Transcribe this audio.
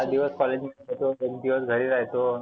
चार दिवस एक दिवस घरी राहतो.